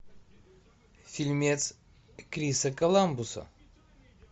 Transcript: фильмец криса коламбуса